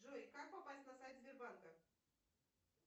джой как попасть на сайт сбербанка